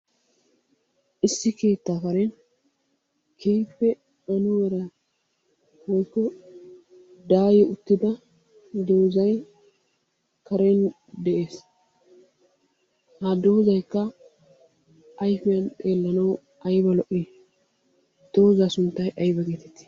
Issi keettaa karen keehippe anuwara keehippe daayi uttida doozay karen de'ees. Ha doozaykka ayfiyan xeellanawu ayba lo'ii? Doozaa sunttay ayba geetettii?